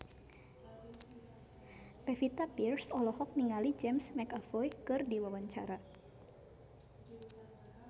Pevita Pearce olohok ningali James McAvoy keur diwawancara